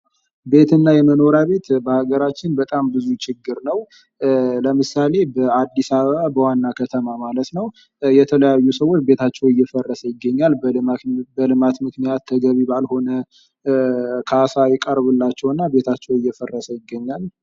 ቤትና የመኖሪያ ቤት በአገራችን በጣም ብዙ ችግር ነው። ለምሳሌ በአዲስ አበባ በዋና ከተማ ማለት ነው። የተለያዩ ሰዎች ቤታቸው እየፈረሰ ይገኛል። በልማት ምክንያት ተገቢ ባልሆነ ካሳ ይቀርብላቸውና ቤታቸው እየፈራረሰ ይገኛል።